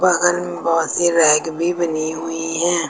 बगल में बहुत सी रेक भी बनी हुई है।